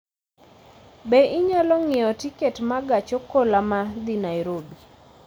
Be inyalo ng'iewo tiket ma gach okoloma dhi Nairobi